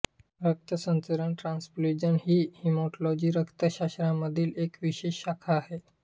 रक्त संचरण ट्रान्स्फ्यूजन ही हिमॅटॉलॉजी रक्तशास्त्रामधील एक विशेष शाखा आहे